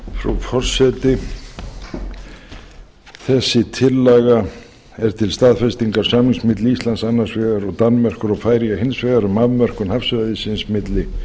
frú forseti þessi tillaga er til staðfestingar samnings milli íslands annars vegar og danmerkur og færeyja hins vegar um afmörkun hafsvæðisins milli